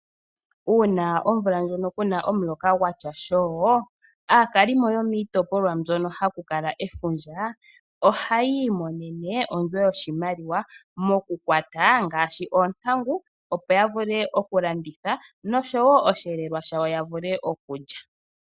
Uuna omvula ndjono ku na omuloka gwatya shoo, aakalimo yomiitopolwa mbyono ha mu kala efundja oha yi imonene ondjo yoshimaliwa mokukwata ngaashi oontangu opo ya vule okulanditha nosho wo oshiyelelwa shawo ya vule okulya.